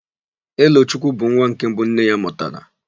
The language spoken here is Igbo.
Elochukwu bụ nwa nke mbụ nne ya mụtara.